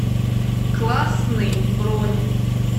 классный бронь